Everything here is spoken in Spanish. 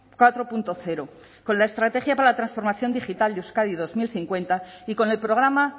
cuatro punto cero con la estrategia para la transformación digital de euskadi dos mil cincuenta y con el programa